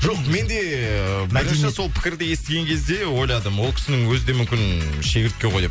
жоқ мен де ыыы бірінші сол пікірді естіген кезде ойладым ол кісінің өзі де мүмкін шегіртке ғой деп